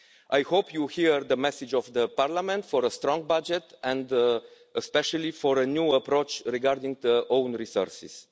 I hope you hear the message of Parliament for a strong budget and especially for a new approach regarding own resources.